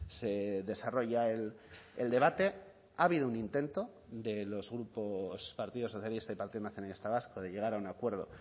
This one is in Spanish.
se desarrolla el debate ha habido un intento de los grupos partido socialista y partido nacionalista vasco de llegar a un acuerdo